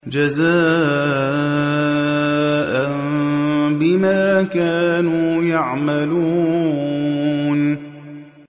جَزَاءً بِمَا كَانُوا يَعْمَلُونَ